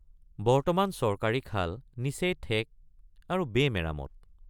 বৰ্তমান চৰকাৰী খাল নিচেই ঠেক আৰু বেমেৰামত।